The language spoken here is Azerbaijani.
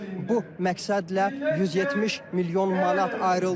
Və bu məqsədlə 170 milyon manat ayrıldı.